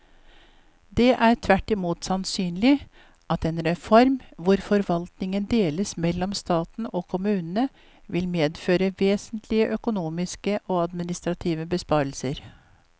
Det er tvert imot sannsynlig at en reform hvor forvaltningen deles mellom staten og kommunene vil medføre vesentlige økonomiske og administrative besparelser.